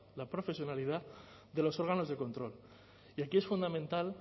la profesionalidad de los órganos de control y aquí es fundamental